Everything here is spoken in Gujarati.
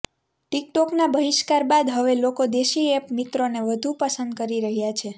ટીકટોકના બહિષ્કાર બાદ હવે લોકો દેશી એપ મિત્રોને વધુ પસંદ કરી રહ્યા છે